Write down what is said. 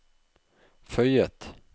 føyet